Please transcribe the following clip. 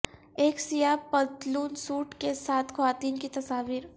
ایک سیاہ پتلون سوٹ کے ساتھ خواتین کی تصاویر